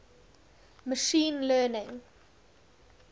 machine learning